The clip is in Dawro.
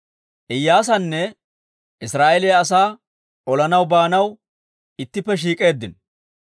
Iyyaasanne Israa'eeliyaa asaa olanaw baanaw ittippe shiik'k'eeddino.